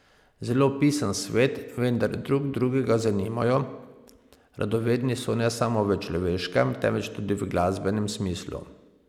Zelo pisan svet, vendar drug drugega zanimajo, radovedni so ne samo v človeškem, temveč tudi v glasbenem smislu.